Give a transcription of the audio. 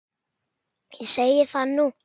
Ég segi það nú!